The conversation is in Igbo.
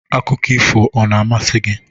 Akụkọ ifo a na-amasị gị?